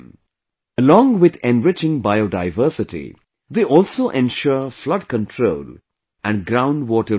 Along with enriching Biodiversity, they also ensure Flood control and Ground Water Recharge